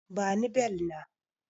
Bani bel na!